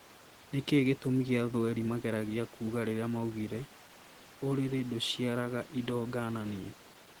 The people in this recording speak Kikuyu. Niki gitumi gia thweri mageragia kuga riria maugire " uriri nduciaraga indo ngananie"